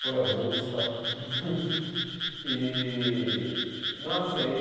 Foi ao Woodstock. E, nossa e